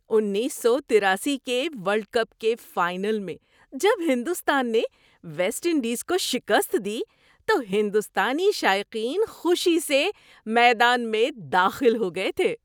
اُنیس سو تراسی کے ورلڈ کپ کے فائنل میں جب ہندوستان نے ویسٹ انڈیز کو شکست دی تو ہندوستانی شائقین خوشی سے میدان میں داخل ہو گئے تھے۔